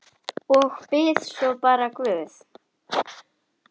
Og bið svo bara guð.